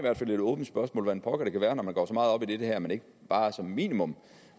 et åbent spørgsmål hvordan pokker det kan være når man går så meget op i det her at man ikke bare som minimum